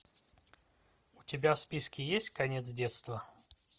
у тебя в списке есть конец детства